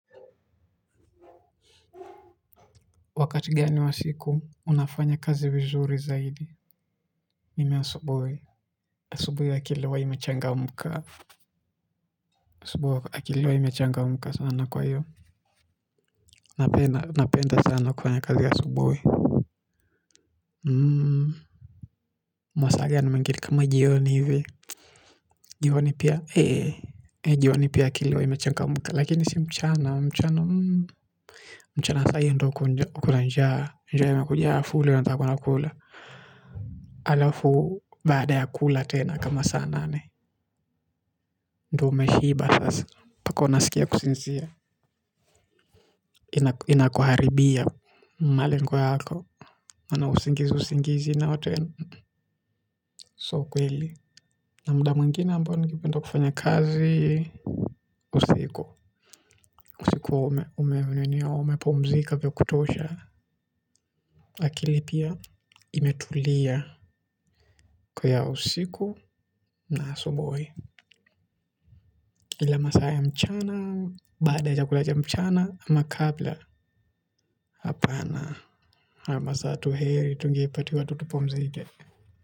Wakati gani wa siku unafanya kazi vizuri zaidi? Mimi asubuhi, asubuhi akili huwa imechangamka sana. Kwa hivyo napenda sana kufanya kazi asubuhi mmh masaa kama jioni ivi alafu baada ya kula tena kama saa nane ndo me shiba sasa pako nasikia kusinzia ina ina kuharibia mali nkwe hako ana usingizi usingizi na watu so kweli na muda mwingine mpano kifanya kazi usiku usiku wa ume mwenweni yao ume pumzika vya kutosha akili pia imetulia kwa ya usiku na asubui kila masaa ya mchana baada ya chakula mchana ama kabla hapana na masaa tuheri tungei pati wa tutupumzika.